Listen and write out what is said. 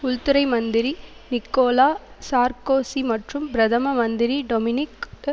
உள்துறை மந்திரி Nicolas Sarkozy மற்றும் பிரதம மந்திரி டொமினிக் டு